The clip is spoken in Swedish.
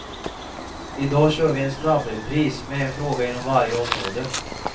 I dag kör vi en snabbrepris med en fråga inom varje område.